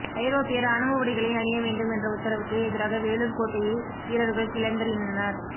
ஐரோப்பிய ராணுவ உடைகளை அணிய வேண்டும் என்ற உத்தரவுக்கு எதிராக வேலூர் கோட்டையில் வீரர்கள் கிளர்ந்தெழுந்தனர்